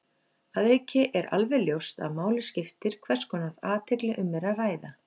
Að auki er alveg ljóst að máli skiptir hvers konar athygli um er að ræða.